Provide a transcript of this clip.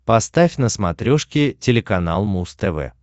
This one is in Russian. поставь на смотрешке телеканал муз тв